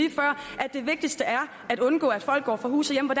det vigtigste er at undgå at folk går fra hus og